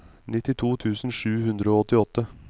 nittito tusen sju hundre og åttiåtte